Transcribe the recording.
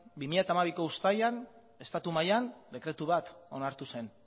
bi mila hamabiko uztailean estatu mailan dekretu bat onartu zen